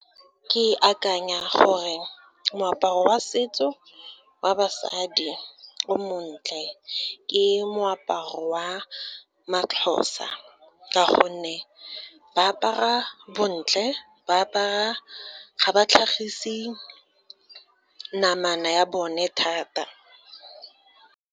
Ke akanya gore moaparo wa setso wa basadi o montle, ke moaparo wa maXhosa, ka gonne ba apara bontle, ga ba tlhagise namana ya bone thata.